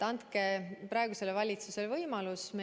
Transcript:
Andke praegusele valitsusele võimalus!